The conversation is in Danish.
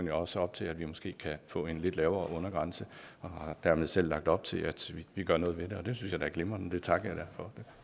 jo også op til at vi måske kan få en lidt lavere undergrænse og har dermed selv lagt op til at vi gør noget ved det og det synes jeg da er glimrende det takker jeg for